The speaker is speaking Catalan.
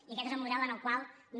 i aquest és el model en el qual no